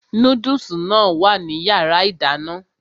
Núdùsì náà wà ní yàrá ìdáná